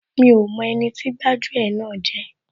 Mi ò mọ ẹni tí gbájú ẹ̀ náà jẹ́